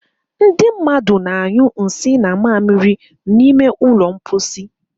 Ndị mmadụ na-anyu nsì na mmamiri n'ime ụlọ mposi